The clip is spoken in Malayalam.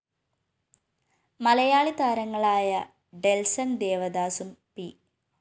മലയാളി താരങ്ങളായ ഡെന്‍സണ്‍ ദേവദാസും പി